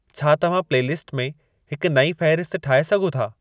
छा तव्हां प्लेलीस्ट में हिक नई फ़हिरिस्त ठाहे सघो था